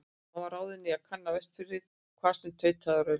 Hann var ráðinn í að kanna Vestfirði, hvað sem tautaði og raulaði.